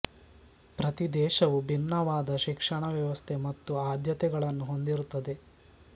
ಪ್ರತಿ ದೇಶವು ಭಿನ್ನವಾದ ಶಿಕ್ಷಣ ವ್ಯವಸ್ಥೆ ಮತ್ತು ಆದ್ಯತೆಗಳನ್ನು ಹೊಂದಿರುತ್ತದೆ